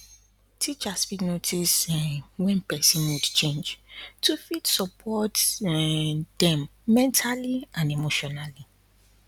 teachers fit notice um wen person mood change to fit support um dem mentally and emotionally